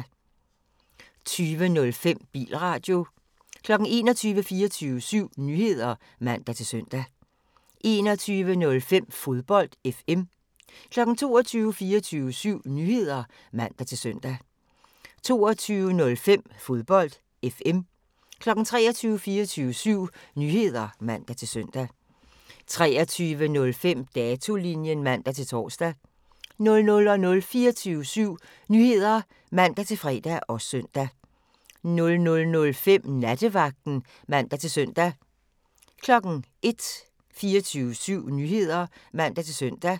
20:05: Bilradio 21:00: 24syv Nyheder (man-søn) 21:05: Fodbold FM 22:00: 24syv Nyheder (man-søn) 22:05: Fodbold FM 23:00: 24syv Nyheder (man-søn) 23:05: Datolinjen (man-tor) 00:00: 24syv Nyheder (man-fre og søn) 00:05: Nattevagten (man-søn) 01:00: 24syv Nyheder (man-søn)